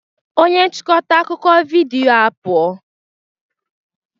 Onye nchịkọta akụkọ vidiyo apụọ